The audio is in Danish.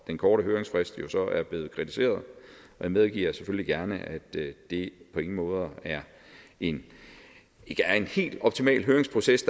den korte høringsfrist jo så er blevet kritiseret og jeg medgiver selvfølgelig gerne at det på ingen måde er en helt optimal høringsproces